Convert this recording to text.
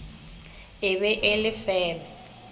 e be e le feme